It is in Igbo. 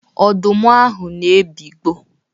Ọdụm ahụ na-ebigbọ.